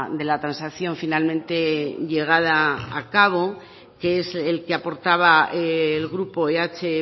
de la transacción finalmente llegada a cabo que es el que aportaba el grupo eh